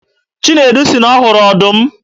Chinedu sị na ọ hụrụ ọdụm